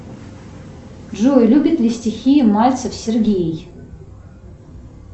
джой любит ли стихи мальцев сергей